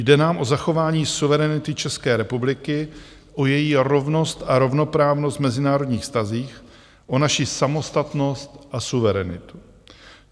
Jde nám o zachování suverenity České republiky, o její rovnost a rovnoprávnost v mezinárodních vztazích, o naši samostatnost a suverenitu.